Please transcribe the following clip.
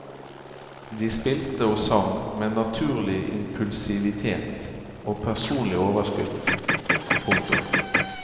De spilte og sang med naturlig impulsivitet og personlig overskudd. punktum